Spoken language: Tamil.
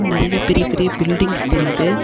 நெறைய பெரிய பெரிய பில்டிங்ஸ் தெரியிது.